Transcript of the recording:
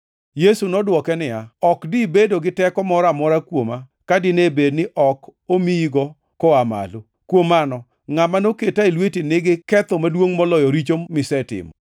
Yesu nodwoke niya, “Ok dibedo gi teko moro amora kuoma ka dine bed ni ok omiyigo koa malo. Kuom mano ngʼama noketa e lweti nigi ketho maduongʼ moloyo richo misetimo.”